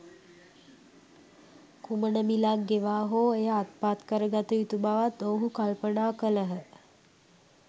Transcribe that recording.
කුමන මිලක් ගෙවා හෝ එය අත්පත් කරගත යුතු බවත් ඔවුහු කල්පනා කළහ.